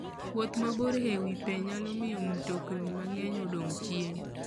Wuoth mabor e wi pe nyalo miyo mtokni mang'eny odong' chien.